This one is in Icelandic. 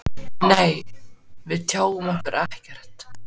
Nei, við tjáum okkur ekkert.